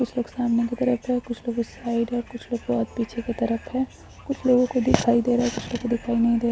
कुछ लोग सामने की तरफ है कुछ लोग उस साइड है कुछ लोग बहोत पीछे की तरफ है कुछ लोगो को दिखाई दे रहा है कुछ लोगों को दिखाई नहीं दे--